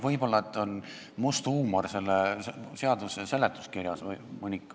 Võib-olla on selle seaduse seletuskirjas must huumor.